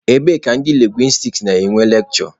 Ebee ka ndị lingwistiks na-enwe lekshure?